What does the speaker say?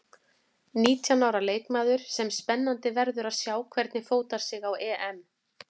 Nítján ára leikmaður sem spennandi verður að sjá hvernig fótar sig á EM.